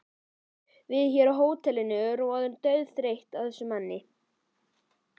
Við hér á hótelinu erum orðin dauðþreytt á þessum manni.